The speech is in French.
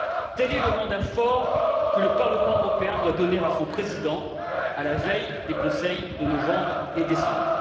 Tel est le mandat fort que le Parlement européen doit donner à son président à la veille des réunions du Conseil de novembre et décembre.